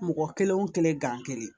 Mɔgɔ kelen o kelen gan kelen